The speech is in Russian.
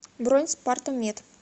бронь спартамед